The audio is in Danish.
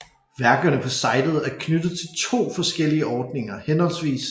Værkerne på sitet er knyttet til to forskellige ordninger hhv